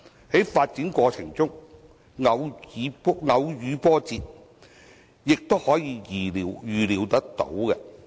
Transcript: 在發展過程中偶遇波折，也是可以預料的。